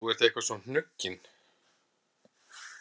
Þú ert eitthvað svo hnuggin